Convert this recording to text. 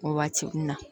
Waati min na